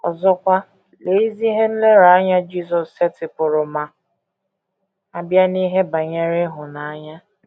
Ọzọkwa, lee ezi ihe nlereanya Jisọs setịpụrụ ma a bịa n’ihe banyere ịhụnanya!